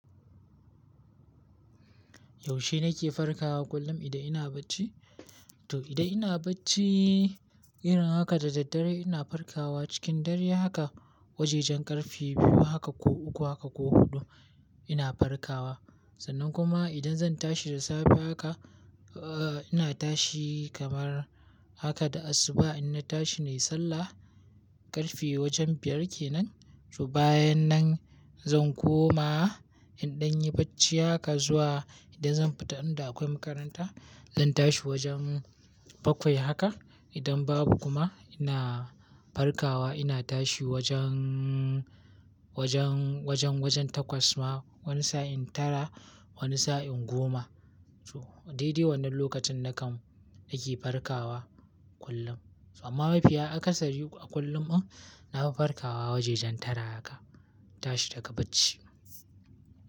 Yaushe nake farkawa kullum idan ina bacci? To, idan ina bacci irin haka da daddare ina farkawa cikin dare haka wajajen ƙarfe biyu haka ko uku haka ko huɗu ina farkawa. Sannan kuma idan zan tashi da safe haka, uh, ina tashi kamar haka da asuba in na tashi na yi sallah, ƙarfe wajen biyar kenan. To bayan nan zan koma inda nayi bacci haka zuwa idan zan fita inda akwai makaranta, zan tashi wajen bakwai haka. Idan babu kuma ina farkawa ina tashi wajen, wajen, wajen, wajen takwas ma, wani sa'in tara, wani sa'in goma. So daidai wannan lokacin nakan, nake farkawa kullum. Amma mafiya akasari a kullum in nafi farkawa wajen tara haka, tashi daga bacci.